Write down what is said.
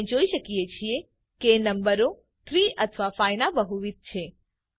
આપણે જોઈ શકીએ છીએ કે નંબરો 3 અથવા 5 ના બહુવિધ છે